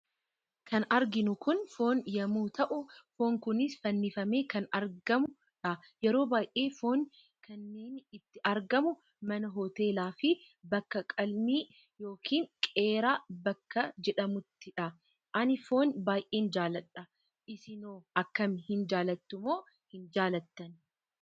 Kan arginu kun foon yemmu ta'u, foon kunis fannifamee kan argamudha. Yeroo baay'ee foon kaniinni itti argamu Mana hoteela fi bakka qalmii yookiin qeeraa bakka jedhamuttidha. Ani foon baay'een jaalladha. isinoo akkami hin jaallattumo hin jaallattani?